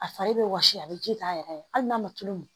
A fari bɛ wɔsi a bɛ ji k'a yɛrɛ ye hali n'a ma tulu min